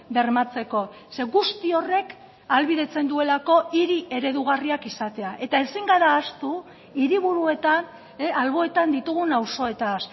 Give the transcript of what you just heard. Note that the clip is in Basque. bermatzeko zeren guzti horrek ahalbidetzen duelako hiri eredugarriak izatea eta ezin gara ahaztu hiriburuetan alboetan ditugun auzoetaz